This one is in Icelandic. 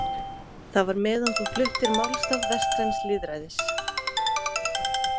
Það var meðan þú fluttir málstað vestræns lýðræðis.